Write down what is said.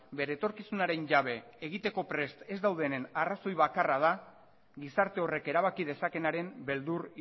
bere etorkizunaren jabe egiteko prest ez daudenen arrazoi bakarra da gizarte horrek erabaki dezakeenaren beldur